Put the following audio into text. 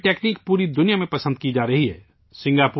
اب تو یہ تکنیک پوری دنیا میں پسند کی جا رہی ہے